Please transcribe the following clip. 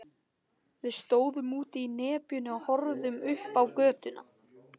Við stóðum úti í nepjunni og horfðum upp á götuna.